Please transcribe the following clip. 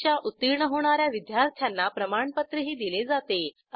परीक्षा उत्तीर्ण होणा या विद्यार्थ्यांना प्रमाणपत्रही दिले जाते